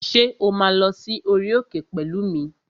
Ṣé o máa lọ sí orí òkè pẹ̀lú mi?